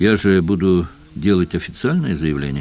я же буду делать официальное заявление